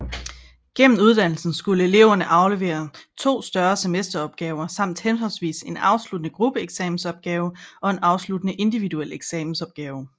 Gennem uddannelsen skulle eleverne aflevere to større semesteropgaver samt henholdsvis en afsluttende gruppeeksamensopgave og en afsluttende individuel eksamensopgave